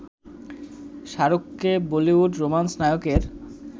শাহরুখকে Bollywood romance নায়কের